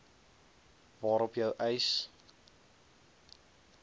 waarop jou eis